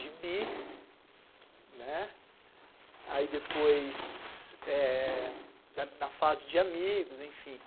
Gibi, né, aí depois, eh... na fase de amigos, enfim,